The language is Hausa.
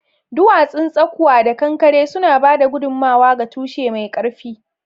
Duwatsun tsakwa da kankare suna ba da gudummawa ga tushe mai ƙarfi.